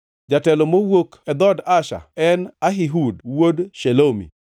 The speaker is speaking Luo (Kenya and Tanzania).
jatelo mowuok e dhood Asher, en Ahihud wuod Shelomi;